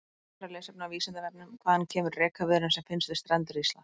Frekara lesefni á Vísindavefnum: Hvaðan kemur rekaviðurinn sem finnst við strendur Íslands?